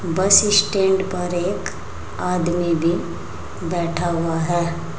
बस स्टैंड पर एक आदमी भी बैठा हुआ है।